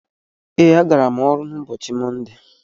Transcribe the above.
Ee, agara m ọrụ n'ụbọchị mọnde.